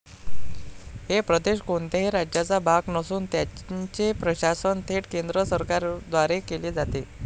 हे प्रदेश कोणत्याही राज्याचा भाग नसून त्यांचे प्रशासन थेट केंद्र सरकारद्वारे केले जाते.